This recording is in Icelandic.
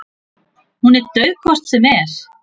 Hún er dauð hvort sem er.